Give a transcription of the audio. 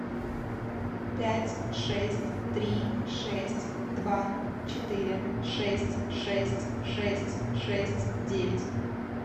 пять шесть три шесть два четыре шесть шесть шесть шесть девять